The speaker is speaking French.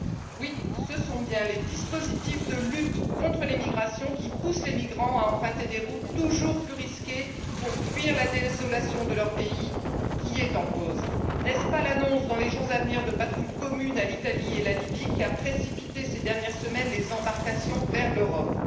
Oui, ce sont bien les dispositifs de lutte contre l'immigration qui poussent les migrants à emprunter des routes toujours plus risquées pour fuir la désolation de leurs pays, qui est en cause. N'est ce pas l'annonce, dans les jours à venir, de patrouilles communes à l'Italie et à la Libye, qui a précipité ces dernières semaines les embarcations vers l'Europe?